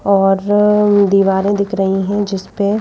और दीवारें दिख रही हैं जिस पे--